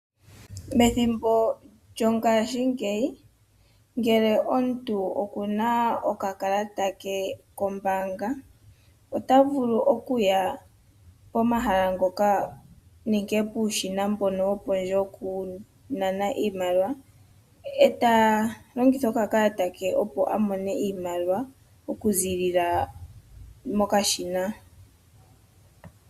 Methimbo lyongashingeyi ngele omuntu okuna okakalata ke kombaanga ota vulu okuya pomahala ngoka nenge puushina mbono wopondje wokunana iimaliwa eta longitha okakalata ke opo a mone iimaliwa okuziilila mokashina.